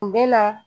U bɛ na